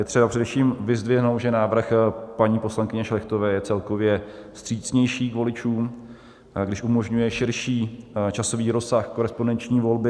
Je třeba především vyzdvihnout, že návrh paní poslankyně Šlechtové je celkově vstřícnější k voličům, když umožňuje širší časový rozsah korespondenční volby.